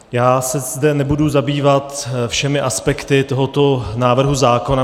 Já se zde nebudu zabývat všemi aspekty tohoto návrhu zákona.